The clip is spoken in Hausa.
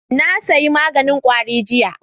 Na sayi maganin kwari jiya